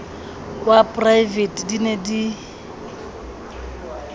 wa praevete di ne di